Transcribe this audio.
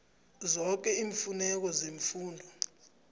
zoke iimfuneko zefundo